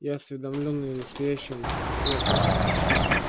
я осведомлён и о настоящем и о прошлом